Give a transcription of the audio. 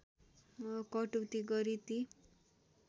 कटौती गरी ती